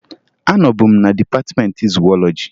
Anọbu m na dịpatịmeentị zuwọlọji